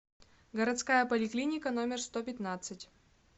городская поликлиника номер сто пятнадцать